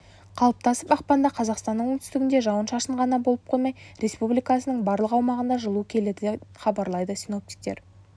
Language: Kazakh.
қалыптасып ақпанда қазақстанның оңтүстігінде жауын-шашын ғана болып қоймай республикасының барлық аумағына жылу келеді хабарлайды синоптиктер